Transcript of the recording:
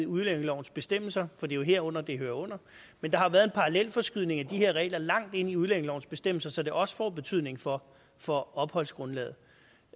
udlændingelovens bestemmelser for det er jo herunder det hører men der har været en parallelforskydning af de her regler langt ind i udlændingelovens bestemmelser så det også får betydning for for opholdsgrundlaget